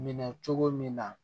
Minɛ cogo min na